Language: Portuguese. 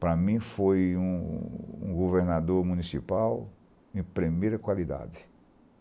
Para mim, foi um um governador municipal de primeira qualidade.